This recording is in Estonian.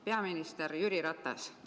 Peaminister Jüri Ratas!